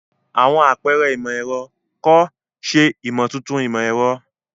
Àwọn àpẹrẹ imọ-ẹrọ, kọ, ṣe imotuntun imọ-ẹrọ.